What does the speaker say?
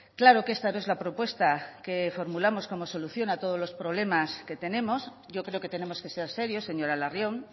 claro que esta no es la propuesta que formulamos como solución a todos los problemas que tenemos yo creo que tenemos que ser serios señora larrion